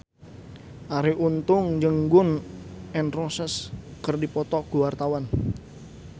Arie Untung jeung Gun N Roses keur dipoto ku wartawan